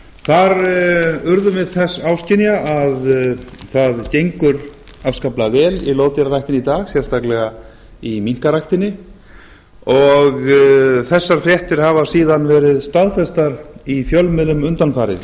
þar urðum við þess áskynja að það gengur afskaplega vel í loðdýraræktinni í dag sérstaklega í minkaræktinni þessar fréttir hafa síðan verið staðfestar í fjölmiðlum undanfarið